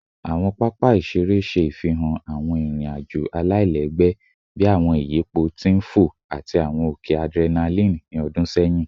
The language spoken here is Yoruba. Awọn papa iṣere iṣere ṣe ifihan awọn irin-ajo alailẹgbẹ bii awọn iyipo ti n fo ati awọn oke adrenaline ni ọdun sẹyin